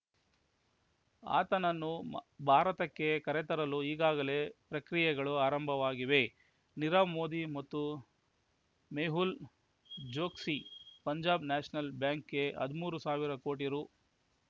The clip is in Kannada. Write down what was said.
ಆತನನ್ನು ಭಾರತಕ್ಕೆ ಕರೆತರಲು ಈಗಾಗಲೇ ಪ್ರಕ್ರಿಯೆಗಳು ಆರಂಭವಾಗಿವೆ ನೀರವ್ ಮೋದಿ ಮತ್ತು ಮೆಹುಲ್ ಚೊಕ್ಸಿ ಪಂಜಾಬ್ ನ್ಯಾಷನಲ್ ಬ್ಯಾಂಕ್‌ಗೆ ಹದಿಮೂರು ಸಾವಿರ ಕೋಟಿ ರೂ